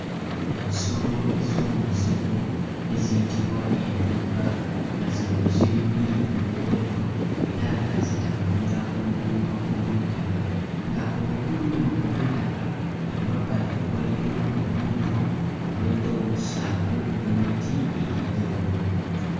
Ensolo ez'omu nsiko eziyitibwa entugga nga zino ziri bbiri mu muwendo era nga zitambulira ku luguudo olw'ettaka, nga oluguudo luno olw'ettaka emabbali waliyo omuddo ogw'enjawulo ssaako n'emiti egy'enjawulo.